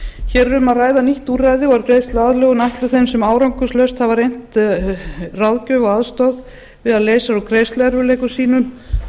hér er um að ræða nýtt úrræði og er greiðsluaðlögun ætluð þeim sem árangurslaust hafa reynt ráðgjöf og aðstoð við að leysa úr greiðsluerfiðleikum sínum